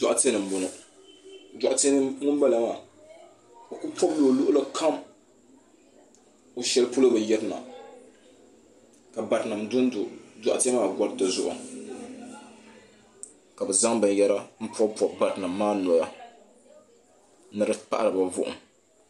Dɔɣitɛ ni m bɔŋɔ dɔɣitɛ ŋuni bala maa o ku pɔbi la o luɣili kam o shɛli polo bi yiri na ka bari nima do n do dɔɣitɛ maa gariti zuɣu ka bi zaŋ bini yɛra npɔbi pɔbi bari nima maa noya ni di pahiri ba vuhim.